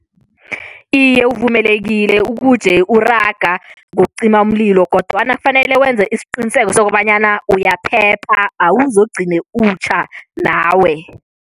Iye, uvumelekile ukuje uraga ngokucima umlilo kodwana kufanele wenze isiqiniseko sokobanyana uyaphepha, awuzogcine utjha nawe.